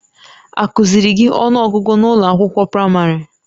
Akụ́ziiri gị ọnụọgụgụ n'ụlọ akwụkwọ praịmarị?